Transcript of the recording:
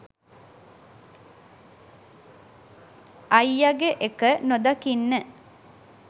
අයියගෙ එක නොදකින්න